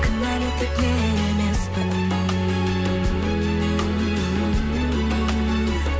кінәлі тек мен емеспін